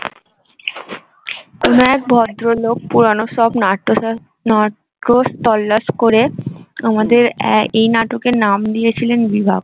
কোনো এক ভদ্র লোক পুরানো সব নাট্য, করে আমাদের এই নাটকের নাম দিয়েছিলেন বিভাগ